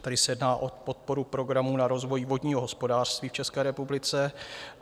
Tady se jedná o podporu Programu na rozvoj vodního hospodářství v České republice.